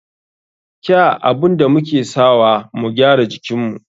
Kya abun da muke sawa mu gyara jikinmu.